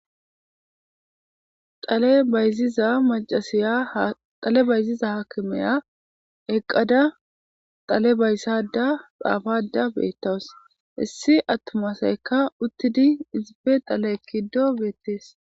Ale bayziza macasiya xale bayziza haakimeya eqqada xale bayssada xaafada beettawus issi attumasaykka uttidi izipe tale ekkido beettees.